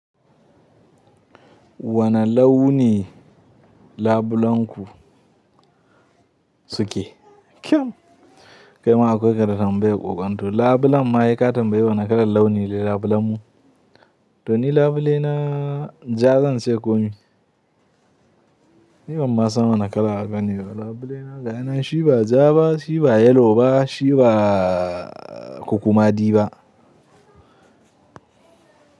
Wane launi labulenku suke? Kyau, kai ma akwai ka da tambayan kwakwan. To labulen ma saika tamyaya wani kalar launi ne labulenmu. To ni labule na ja zan ce komi. Ni ban ma san wane kala bane ba labule na. Ga yana shi ba ja ba, shi ba yellow ba, shi ba kukumadi ba.